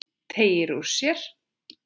Teygir úr sér.